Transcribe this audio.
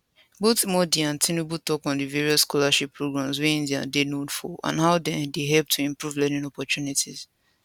both modi and tinubu tok on di various scholarship programmes wey india dey known for and how dem dey help to improve learning opportunities